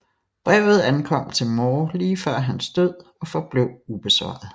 Brevet ankom til Moore lige før hans død og forblev ubesvaret